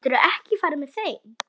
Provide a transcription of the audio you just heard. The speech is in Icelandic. Geturðu ekki farið með þeim?